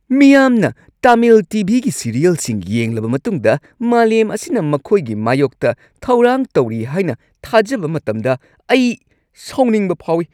ꯃꯤꯌꯥꯝꯅ Tamil T. V. ꯒꯤ ꯁꯤꯔꯤꯌꯦꯜꯁꯤꯡ ꯌꯦꯡꯂꯕ ꯃꯇꯨꯡꯗ ꯃꯥꯂꯦꯝ ꯑꯁꯤꯅ ꯃꯈꯣꯏꯒꯤ ꯃꯥꯌꯣꯛꯇ ꯊꯧꯔꯥꯡ ꯇꯧꯔꯤ ꯍꯥꯏꯅ ꯊꯥꯖꯕ ꯃꯇꯝꯗ ꯑꯩ ꯁꯥꯎꯅꯤꯡꯕ ꯐꯥꯎꯏ ꯫